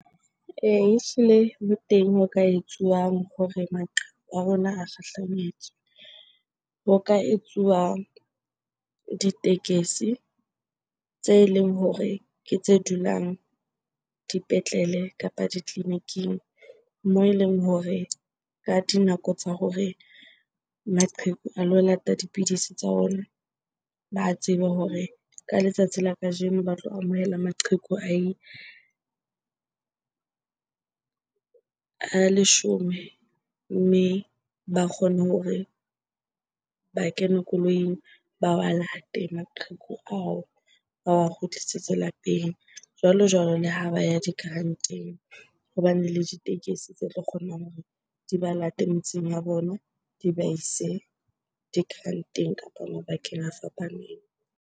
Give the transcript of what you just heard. Ee, ehlile ho teng ho ka etsuwang hore maqheku a rona a kgahlanyetswe. Ho ka etsuwa ditekesi tse leng hore ke tse dulang dipetlele kapa ditleliniking moo eleng hore ka dinako tsa hore maqheku a lo lata dipidisi tsa ona, ba tsebe hore ka letsatsi la kajeno ba tlo amohela maqheku a leshome. Mme ba kgone hore ba kene koloing ba wa late maqheku ao ba wa kgutlisetswe lapeng. Jwalo-jwalo le ha ba ya di-grant-eng ho bane le ditekesi tse tlo kgonang hore di ba late metseng ya bona di ba ise di-grant-eng kapa mabakeng a fapaneng.